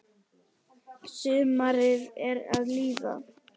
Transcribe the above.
Sumarið er að líða.